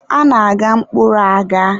A na-agha mkpụrụ agha.